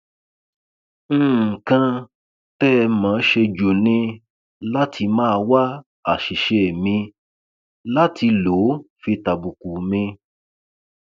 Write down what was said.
nǹkan tẹ ẹ mọ ọn ṣe jù ni láti máa wá àṣìṣe mi láti lò ó fi tàbùkù mi